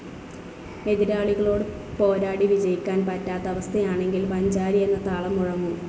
എതിരാളികളോട് പോരാടി വിജയിക്കാൻ പറ്റാത്ത അവസ്ഥയാണെങ്കിൽ പഞ്ചാരി എന്ന താളം മുഴങ്ങും.